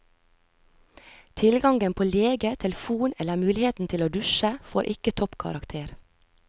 Tilgangen på lege, telefon eller muligheten til å dusje, får ikke toppkarakter.